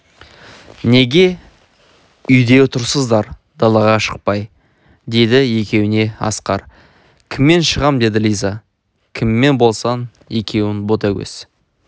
неге үйде тұрсыздар далаға шықпай деді екеуіне асқар кіммен шығам деді лиза кіммен болсын екеуің ботагөз